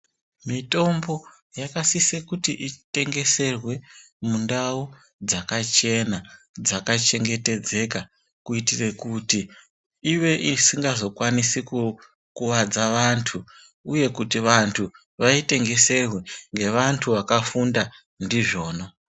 Mitombo yakasie kuti itengeserwe mundau dzakachena, dzakachengetedzeka. Kuitire kuti ive isingazokwanisi kukuvadza vantu uye kuti vantu vaitengeserwe ngevantu vakafunda ndizvona.